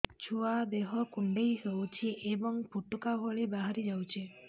ଛୁଆ ଦେହ କୁଣ୍ଡେଇ ହଉଛି ଏବଂ ଫୁଟୁକା ଭଳି ବାହାରିଯାଉଛି